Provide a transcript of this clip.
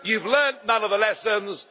You've learned none of the lessons.